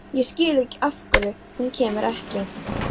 Ég skil ekki af hverju hún kemur ekki.